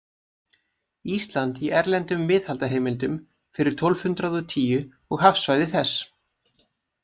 „Ísland í erlendum miðaldaheimildum fyrir tólf hundrað og tíu og hafsvæði þess.